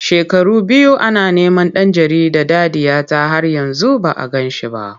Shekaru biyu ana neman ɗan jarida Dadiyata har yanzu ba a gan shi ba.